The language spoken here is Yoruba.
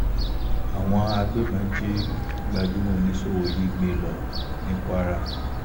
àwọn agbébọn jí gbajúmọ̀ oníṣòwò yìí gbé lọ ní kwara